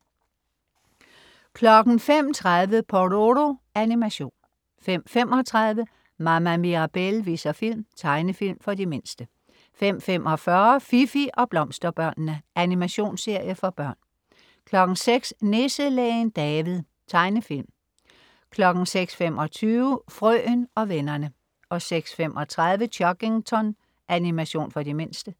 05.30 Pororo. Animation 05.35 Mama Mirabelle viser film. Tegnefilm for de mindste 05.45 Fifi og Blomsterbørnene. Animationsserie for børn 06.00 Nisselægen David. Tegnefilm 06.25 Frøen og vennerne 06.35 Chuggington. Animation for de mindste